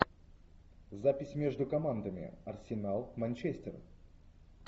запись между командами арсенал манчестер